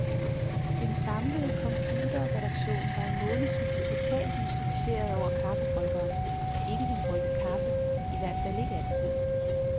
Den samlede computerredaktion var i månedsvis totalt mystificeret over kaffebryggeren, der ikke ville brygge kaffe, i hvert fald ikke altid.